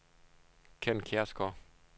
Kenn Kjærsgaard